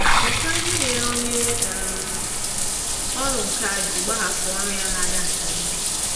Mụta ihe mere onye um ọrụ nkà ji gbahapụ ọrụ ya na-aga nke ọma.